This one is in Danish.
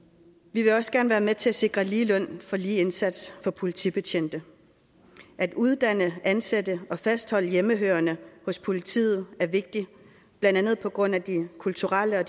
vi vil også gerne være med til at sikre lige løn for lige indsats for politibetjente at uddanne ansætte og fastholde hjemmehørende hos politiet er vigtigt blandt andet på grund af den kulturelle og